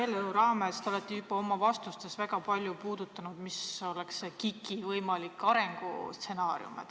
Selle eelnõu raames te olete oma vastustes juba väga palju puudutanud seda, milline oleks KIK-i võimalik arengustsenaarium.